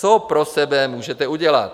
Co pro sebe můžete udělat?